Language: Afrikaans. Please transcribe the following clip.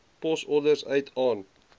posorders uit aan